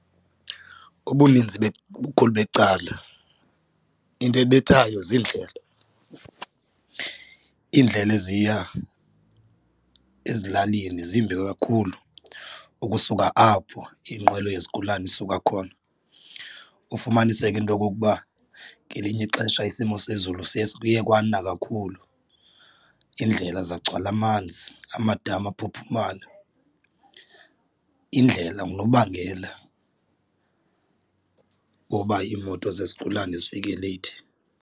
Ubuninzi ubukhulu becala into ebethayo ziindlela, iindlela eziya ezilalini zimbi kakhulu ukusuka apho inqwelo yezigulana isuka khona, ufumaniseke into okokuba ngelinye ixesha isimo sezulu siye kuye kwana kakhulu indlela zagcwala amanzi amadama ephuphumala, indlela ngunobangela woba iimoto zezigulane zifike leyithi.